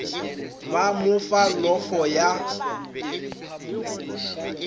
ba mo fa llofo ya